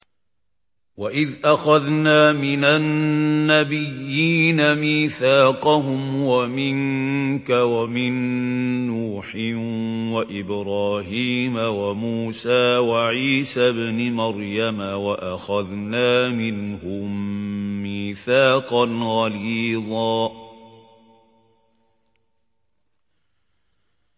وَإِذْ أَخَذْنَا مِنَ النَّبِيِّينَ مِيثَاقَهُمْ وَمِنكَ وَمِن نُّوحٍ وَإِبْرَاهِيمَ وَمُوسَىٰ وَعِيسَى ابْنِ مَرْيَمَ ۖ وَأَخَذْنَا مِنْهُم مِّيثَاقًا غَلِيظًا